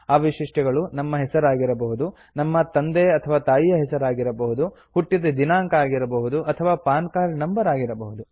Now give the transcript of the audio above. ಆ ವೈಶಿಷ್ಟ್ಯಗಳು ನಮ್ಮ ಹೆಸರು ಆಗಿರಬಹುದು ನಮ್ಮ ತಂದೆತಾಯಿಯ ಹೆಸರು ಆಗಿರಬಹುದು ಹುಟ್ಟಿದ ದಿನಾಂಕ ಆಗಿರಬಹುದು ಅಥವಾ ಪಾನ್ ಕಾರ್ಡ್ ನಂಬರ್ ಆಗಿರಬಹುದು